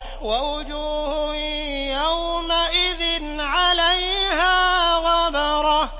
وَوُجُوهٌ يَوْمَئِذٍ عَلَيْهَا غَبَرَةٌ